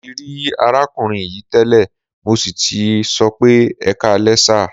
Mo ti rí arákùnrin yìí tẹ́lẹ̀, mo sì tì sọ pé "ẹkáalẹ́ sà".